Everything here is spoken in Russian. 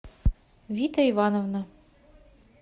вита ивановна